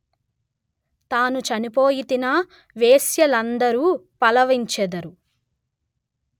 తాను చనిపోయితినా వేశ్యలందఱు పలవించెదరు